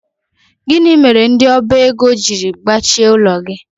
Gịnị mere ndị ọba ego jiri gbachie ụlọ gị?